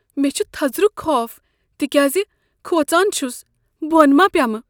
مےٚ چھُ تھزرُک خوف تکیازِ کھوژان چھُس بون ما پیمہٕ۔